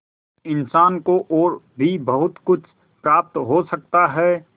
इंसान को और भी बहुत कुछ प्राप्त हो सकता है